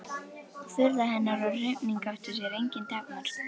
Furða hennar og hrifning átti sér engin takmörk.